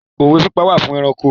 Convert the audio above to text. Òwe pípa wà fún ẹranko